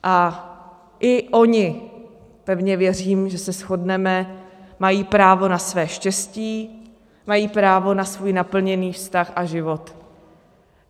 A i oni - pevně věřím, že se shodneme - mají právo na své štěstí, mají právo na svůj naplněný vztah a život.